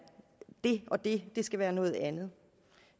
det og det det skal være noget andet